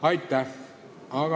Aitäh!